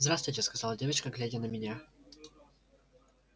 здравствуйте сказала девочка глядя на меня